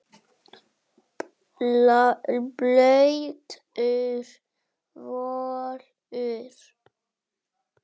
Blautur völlur.